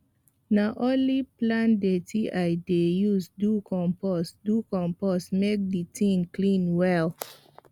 na only plant dirty i dey use do compost do compost make the thing clean well